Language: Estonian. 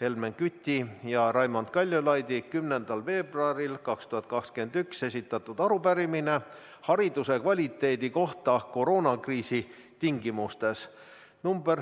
Helmen Küti ja Raimond Kaljulaidi 10. veebruaril 2021 esitatud arupärimine hariduse kvaliteedi kohta koroonakriisi tingimustes .